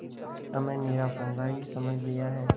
हमें निरा पोंगा ही समझ लिया है